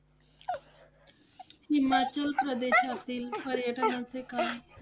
हिमाचल प्रदेशातील पर्यटनांचे काय